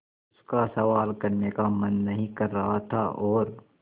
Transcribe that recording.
उसका सवाल करने का मन नहीं कर रहा था और